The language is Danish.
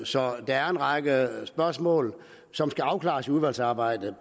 så der er en række spørgsmål som skal afklares i udvalgsarbejdet